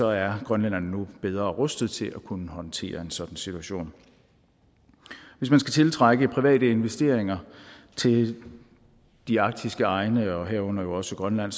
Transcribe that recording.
er grønlænderne nu bedre rustet til at kunne håndtere en sådan situation hvis man skal tiltrække private investeringer til de arktiske egne herunder jo også grønland